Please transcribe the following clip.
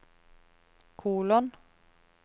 kolon